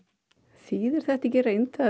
þýðir þetta ekki í reynd